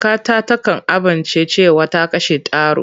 Kakata takan ambaci cewa ta kashe taro.